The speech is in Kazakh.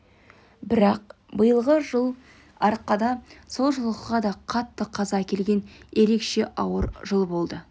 бірақ биылғы жыл арқада сол жылқыға да қатты қаза әкелген ерекше ауыр жыл болды